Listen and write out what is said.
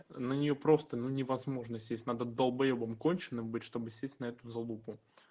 на неё просто ну невозможно сесть надо долбоёбом конченым быть чтобы сесть на эту залупу